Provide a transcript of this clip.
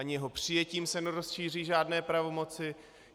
Ani jeho přijetím se nerozšíří žádné pravomoci.